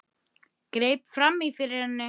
Greip fram í fyrir henni.